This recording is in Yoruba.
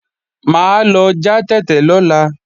Mà á lọ já tètè lọ́la